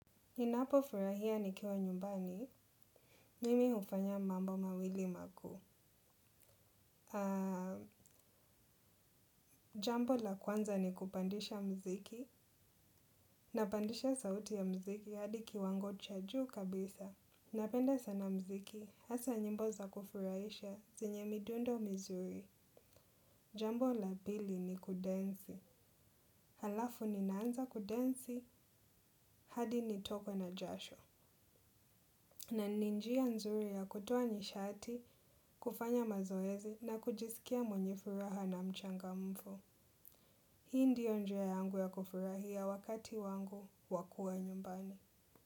Ninapo furahia nikiwa nyumbani, mimi hufanya mambo mawili makuu. Jambo la kwanza ni kupandisha mziki, napandisha sauti ya mziki hadi kiwango cha juu kabisa. Napenda sana mziki, hasa nyimbo za kufurahisha, zenye midundo mizuri. Jambo la pili ni kudensi, halafu ninaanza kudensi hadi nitokwe na jasho. Na ni njia nzuri ya kutoa nishati, kufanya mazoezi na kujisikia mwenye furaha na mchangamfu. Hii ndiyo njia yangu ya kufurahia wakati wangu wa kua nyumbani.